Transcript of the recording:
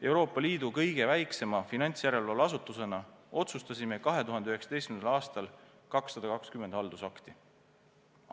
Euroopa Liidu kõige väiksema finantsjärelevalveasutusena otsustasime 2019. aastal 220 haldusakti.